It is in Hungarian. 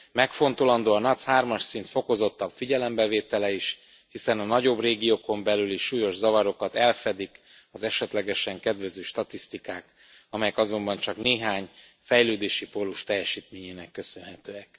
Megfontolandó a NUTS 3 as szint fokozottabb figyelembevétele is, hiszen a nagyobb régiókon belüli súlyos zavarokat elfedik az esetlegesen kedvező statisztikák, amelyek azonban csak néhány fejlődési pólus teljesítményének köszönhetőek.